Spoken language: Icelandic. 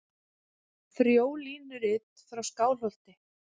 Frjólínurit frá Skálholti.